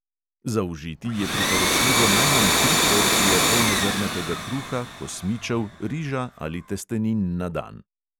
Zaužiti je priporočljivo najmanj tri porcije polnozrnatega kruha, kosmičev, riža ali testenin na dan.